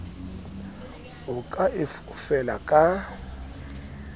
o ka e fofela ka